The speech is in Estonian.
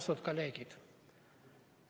Austatud kolleegid!